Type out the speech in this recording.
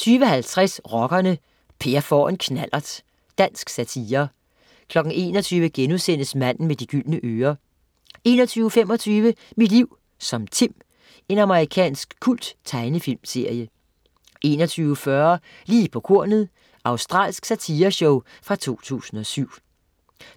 20.50 Rockerne: Per får en knallert. Dansk satire 21.00 Manden med de gyldne ører* 21.25 Mit liv som Tim. Amerikansk kulttegnefilmsserie 21.40 Lige på kornet. Australsk satireshow fra 2007